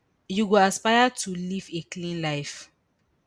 you go aspire to live a clean life